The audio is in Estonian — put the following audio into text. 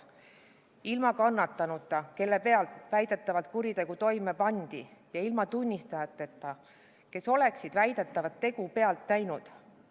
Menetlust alustatakse ilma kannatanuta, kelle peal väidetavalt kuritegu toime pandi, ja ilma tunnistajateta, kes oleksid väidetavat tegu pealt näinud.